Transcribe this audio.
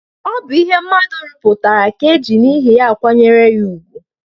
O bu ihe mmadu ruputara ka e ji n' ihi ya akwanyere ya ugwu.